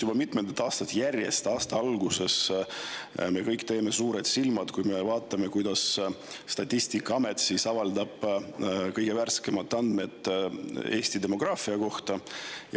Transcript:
Juba mitmendat aastat järjest teeme me aasta alguses kõik suured silmad, kui vaatame Statistikaameti avaldatud kõige värskemaid andmeid Eesti demograafia kohta.